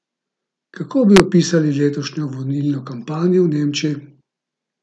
Kako bi opisali letošnjo volilno kampanjo v Nemčiji?